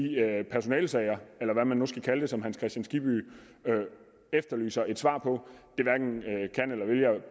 personalesager eller hvad man nu skal kalde det som herre hans kristian skibby efterlyser svar på